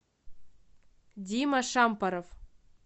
дима шампоров